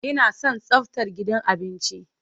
Ina son tsaftar gidan abinci.